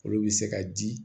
Olu bɛ se ka di